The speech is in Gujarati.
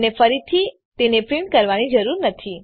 તમને ફરીથી તેને પ્રીંટ કરવાની જરૂર નથી